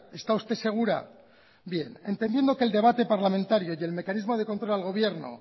está usted segura bien entendiendo que el debate parlamentario y el mecanismo de control al gobierno